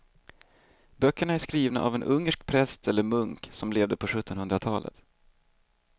Böckerna är skrivna av en ungersk präst eller munk som levde på sjuttonhundratalet.